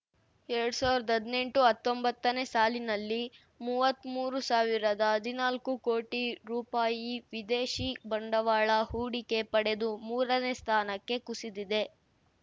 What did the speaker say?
ಎರಡ್ ಸಾವಿರ್ದಾ ಹದ್ನೆಂಟುಹತ್ತೊಂಬತ್ತನೇ ಸಾಲಿನಲ್ಲಿ ಮೂವತ್ಮೂರು ಸಾವಿರದಹದ್ನಾಲ್ಕು ಕೋಟಿ ರೂಪಾಯಿ ವಿದೇಶಿ ಬಂಡವಾಳ ಹೂಡಿಕೆ ಪಡೆದು ಮೂರನೇ ಸ್ಥಾನಕ್ಕೆ ಕುಸಿದಿದೆ